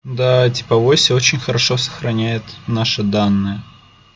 да типа вася очень хорошо сохраняет наши данные